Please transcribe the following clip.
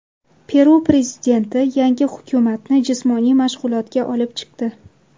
Peru prezidenti yangi hukumatni jismoniy mashg‘ulotga olib chiqdi.